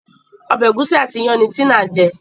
Ọbẹ̀ egusi àti iyán ní Tina jé